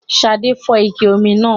Ṣadé fọ́ ike omi náà